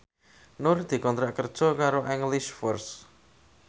Nur dikontrak kerja karo English First